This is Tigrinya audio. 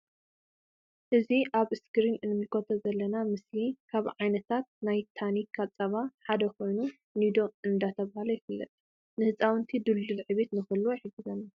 እዚ ኣብ እስክሪን ንምልከቶ ዘለና ምስሊ ካብ ዓይነታት ናይ ታኒካ ጻባታት ሓደ ኮይኑ ኒዶ እንዳ ተብሃለ ይፍለጥ። ን ሕጻውንቲ ድልዱል ዕብየት ንክህልዎም ይሕግዝ።